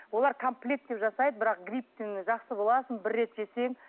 олар комплекттеп жасайды бірақ грипптен жақсы боласың бір рет жесең